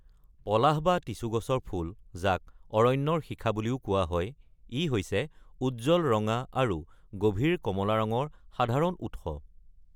পলাশ বা টিছু গছৰ ফুল, যাক অৰণ্যৰ শিখা বুলিও কোৱা হয়, ই হৈছে উজ্জ্বল ৰঙা আৰু গভীৰ কমলা ৰঙৰ সাধাৰণ উৎস।